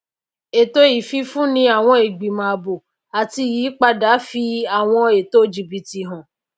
èto ìfifúni awọn igbimọ ààbò ati iyipada fi àwọn ètò jibiti hàn